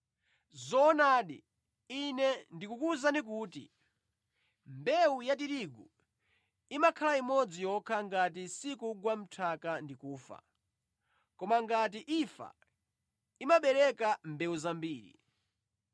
Zoonadi, Ine ndikukuwuzani kuti, ‘Mbewu ya tirigu imakhala imodzi yokha ngati sikugwa mʼnthaka ndi kufa. Koma ngati imfa, imabereka mbewu zambiri.’